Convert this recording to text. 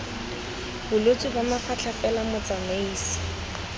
bolwetse ba mafatlha fela motsamaisi